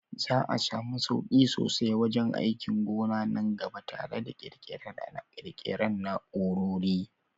Za a samu sauki sosai wajen aikin gona nan gaba tare da ƙirƙirar ƙarin na'urori.